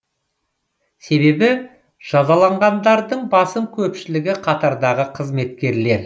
себебі жазаланғандардың басым көпшілігі қатардағы қызметкерлер